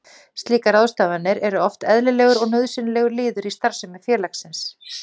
Slíkar ráðstafanir eru oft eðlilegur og nauðsynlegur liður í starfsemi félagsins.